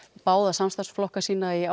báða samstarfsflokkana sína í